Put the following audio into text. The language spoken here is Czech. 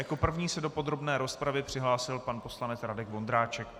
Jako první se do podrobné rozpravy přihlásil pan poslanec Radek Vondráček.